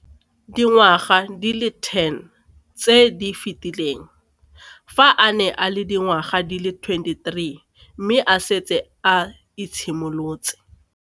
Dingwaga di le 10 tse di fetileng, fa a ne a le dingwaga di le 23 mme a setse a itshimoletse.